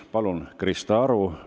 Palun, Krista Aru!